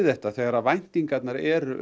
þetta þegar væntingarnar eru